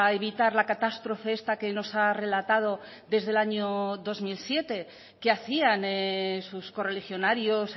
evitar la catástrofe esta que nos ha relatado desde el año dos mil siete qué hacían sus correligionarios